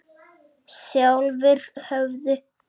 Sjálfir höfðu